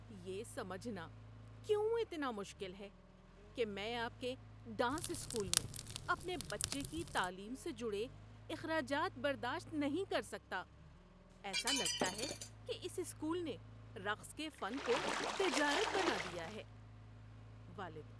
یہ سمجھنا کیوں اتنا مشکل ہے کہ میں آپ کے ڈانس اسکول میں اپنے بچے کی تعلیم سے جڑے اخراجات برداشت نہیں کر سکتا؟ ایسا لگتا ہے کہ اس اسکول نے رقص کے فن کو تجارت بنا دیا ہے۔ (والد)